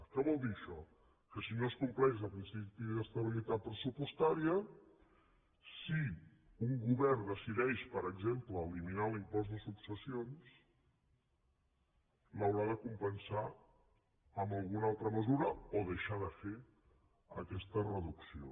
què vol dir això que si no es compleix el principi d’estabilitat pressupostària si un govern decideix per exemple eliminar l’impost de successions l’haurà de compensar amb alguna altra mesura o deixar de fer aquesta reducció